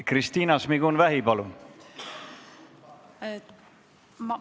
Kristina Šmigun-Vähi, palun!